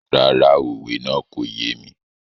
Rárá, òwe náà kò yé mi.